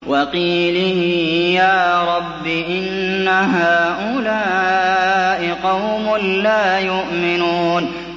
وَقِيلِهِ يَا رَبِّ إِنَّ هَٰؤُلَاءِ قَوْمٌ لَّا يُؤْمِنُونَ